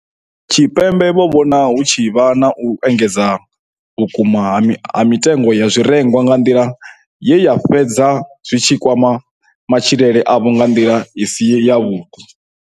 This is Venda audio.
Tshipembe vho vhona hu tshi vha na u engedzea vhukuma ha mitengo ya zwirengwa nga nḓila ye zwa fhedza zwi tshi kwama matshilele avho nga nḓila ine ya si vhe yavhuḓi.